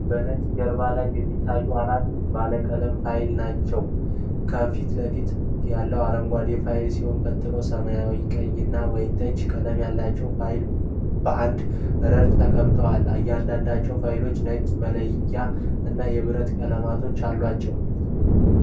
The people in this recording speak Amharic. በነጭ ጀርባ ላይ የሚታዩት አራት ባለቀለም ፋይሎች ናቸው። ከፊት ለፊት ያለው አረንጓዴ ፋይል ሲሆን፣ ቀጥሎ ሰማያዊ፣ ቀይ እና ወይንጠጅ ቀለም ያላቸው ፋይሎች በአንድ ረድፍ ተቀምጠዋል። እያንዳንዳቸው ፋይሎች ነጭ መለያ እና የብረት ቀለበቶች አሏቸው።